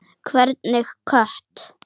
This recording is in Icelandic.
Hvernig kött?